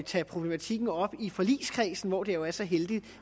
tage problematikken op i forligskredsen hvor det jo er så heldigt